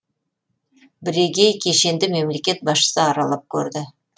бірегей кешенді мемлекет басшысы аралап көрді